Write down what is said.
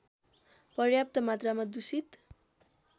पर्याप्त मात्रमा दूषित